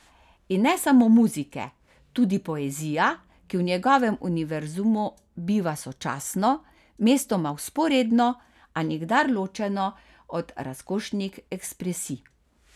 In ne samo muzike, tudi poezija, ki v njegovem univerzumu biva sočasno, mestoma vzporedno, a nikdar ločeno od razkošnih ekspresij.